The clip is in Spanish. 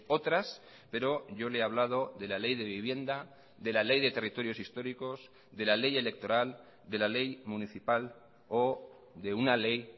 otras pero yo le he hablado de la ley de vivienda de la ley de territorios históricos de la ley electoral de la ley municipal o de una ley